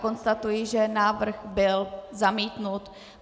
Konstatuji, že návrh byl zamítnut.